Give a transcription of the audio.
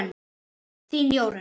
Þín Jórunn.